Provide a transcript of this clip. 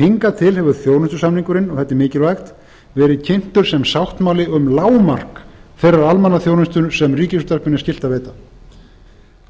hingað til hefur þjónustusamningurinn verið kynntur sem sáttmáli um lágmark þeirrar almannaþjónustu sem ríkisútvarpinu er skylt að veita